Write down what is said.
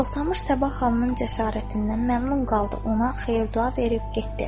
Toxtamış Sabah xanımın cəsarətindən məmnun qaldı, ona xeyir-dua verib getdi.